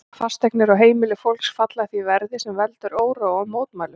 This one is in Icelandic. Fasteignir og heimili fólks falla því verði, sem veldur óróa og mótmælum.